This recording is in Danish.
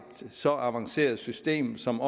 så avanceret system og som